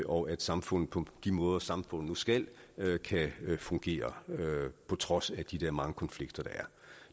og at samfundet på de måder samfundet nu skal kan fungere på trods af de der mange konflikter der er